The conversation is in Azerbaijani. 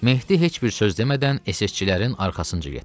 Mehdi heç bir söz demədən SS-çilərin arxasınca getdi.